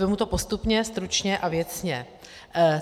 Vezmu to postupně, stručně a věcně.